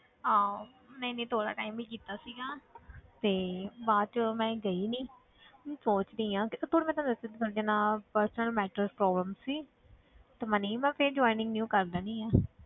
ਹਾਂ ਨਹੀਂ ਨਹੀਂ ਥੋੜ੍ਹਾ time ਹੀ ਕੀਤਾ ਸੀਗਾ ਤੇ ਬਾਅਦ 'ਚ ਮੈਂ ਗਈ ਨੀ ਮੈਂ ਸੋਚ ਰਹੀ ਹਾਂ personal matter problem ਸੀ ਤੇ ਮੈਂ ਨਹੀਂ ਮੈਂ ਫਿਰ joining new ਕਰ ਲੈਂਦੀ ਹਾਂ